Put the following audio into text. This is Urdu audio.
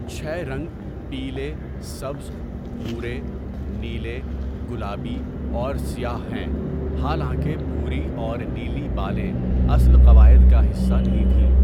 چھ رنگ پیلے، سبز، بھورے، نیلے، گلابی اور سیاہ ہیں، حالانکہ بھوری اور نیلی بالیں اصل قواعد کا حصہ نہیں تھیں۔